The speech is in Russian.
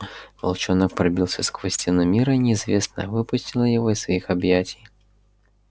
волчонок пробился сквозь стену мира неизвестное выпустило его из своих объятий